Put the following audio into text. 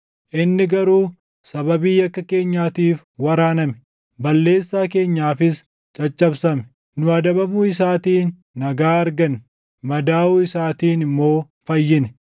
Inni garuu sababii yakka keenyaatiif waraaname; balleessaa keenyaafis caccabsame; nu adabamuu isaatiin nagaa arganne; madaaʼuu isaatiin immoo fayyine.